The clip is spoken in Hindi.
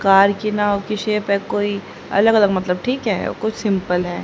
कार की नाव की शेप है कोई अलग अलग मतलब ठीक है कुछ सिंपल है।